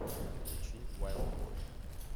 включи вайлд бой